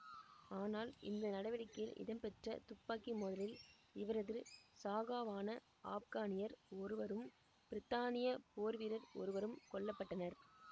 ஆனால் இந்த நடவடிக்கையில் இடம்பெற்ற துப்பாக்கி மோதலில் இவரது சகாவான ஆப்கானியர் ஒருவரும் பிரித்தானிய போர் வீரர் ஒருவரும் கொல்ல பட்டனர்